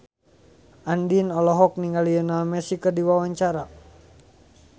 Andien olohok ningali Lionel Messi keur diwawancara